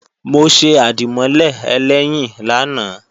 Mo ṣe àdìmọ́lè ẹlẹ́yìn lánàá